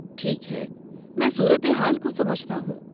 ٹھیک ہے، میں صورتحال کو سمجھتا ہوں۔